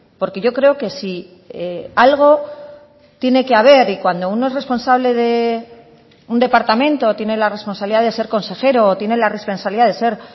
porque yo creo que si algo tiene que haber y cuando uno es responsable de un departamento tiene la responsabilidad de ser consejero o tiene la responsabilidad de ser